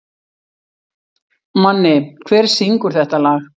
Manni, hver syngur þetta lag?